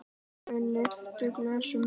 Þau lyftu glösum.